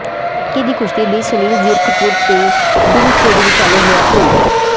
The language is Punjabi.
ਪਟਕੇ ਦੀ ਕੁਸ਼ਤੀ ਲਈ ਸੁਨੀਲ ਜ਼ੀਰਕਪੁਰ ਤੇ ਡੂਮਛੇੜੀ ਵਿਚਾਲੇ ਹੋਇਆ ਭੇੜ